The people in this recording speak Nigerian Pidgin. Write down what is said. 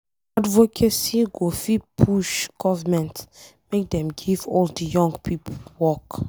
Advocacy go fit push government make dem give all de young pipo work.